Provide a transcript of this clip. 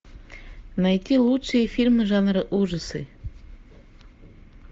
найти лучшие фильмы жанра ужасы